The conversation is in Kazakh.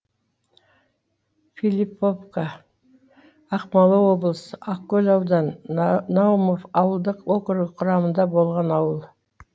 филипповка ақмола облысы ақкөл ауданы наумов ауылдық округі құрамында болған ауыл